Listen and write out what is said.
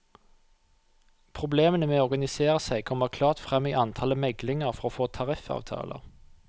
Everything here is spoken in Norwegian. Problemene med å organisere seg kommer klart frem i antallet meglinger for å få tariffavtaler.